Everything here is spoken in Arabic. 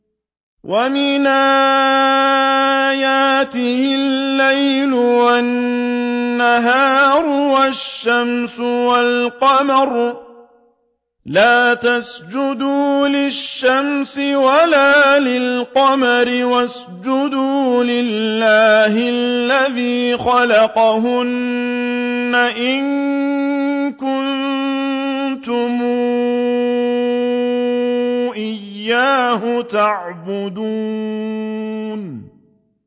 وَمِنْ آيَاتِهِ اللَّيْلُ وَالنَّهَارُ وَالشَّمْسُ وَالْقَمَرُ ۚ لَا تَسْجُدُوا لِلشَّمْسِ وَلَا لِلْقَمَرِ وَاسْجُدُوا لِلَّهِ الَّذِي خَلَقَهُنَّ إِن كُنتُمْ إِيَّاهُ تَعْبُدُونَ